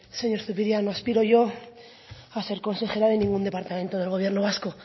señor zupiria no aspiro yo a ser consejera de ningún departamento de gobierno vasco